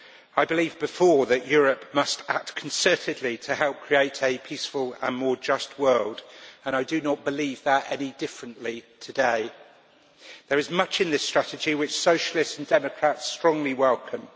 I believed before that Europe must act concertedly to help create a peaceful and more just world, and I do not think any differently today. There is much in this strategy which Socialists and Democrats strongly welcome.